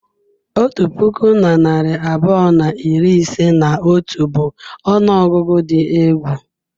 Otu puku na narị abụọ na iri ise na atọ bụ ọnụọgụgụ dị egwu.